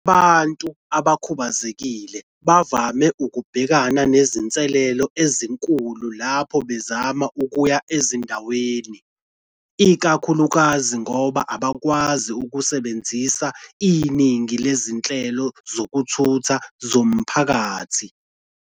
"Abantu abakhubazekile bavame ukubhekana nezinselele ezinkulu lapho bezama ukuya ezindaweni, ikakhulukazi ngoba abakwazi ukusebenzisa iningi lezinhlelo zokuthutha zomphakathi.